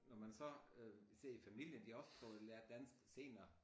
Når man så øh ser i familien de også prøvede lære dansk senere